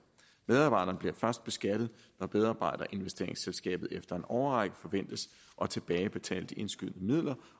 medarbejderne bliver først beskattet når medarbejderinvesteringsselskabet efter en årrække forventes at tilbagebetale de indskudte midler